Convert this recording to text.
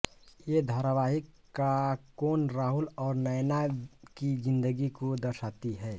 ये धारावाहिक काकोन राहुल और नैना की ज़िंदगी को दर्शाती है